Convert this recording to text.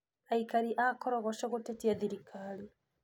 Aikari a Korogoco gũtetia thirikari.